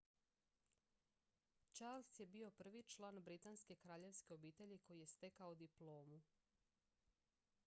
charles je bio prvi član britanske kraljevske obitelji koji je stekao diplomu